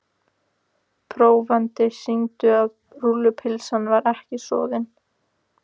Prófanir sýndu að rúllupylsan var ekki soðin.